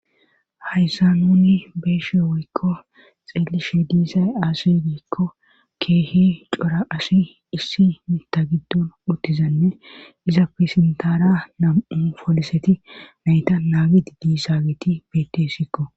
hayssa nuni beeshe woykko xeelishe diisay aasi diikko keehi cora asi issi mita giddon uttizanne iza fisintaara nam7u foliseti nayta naagi didii saageti betessikko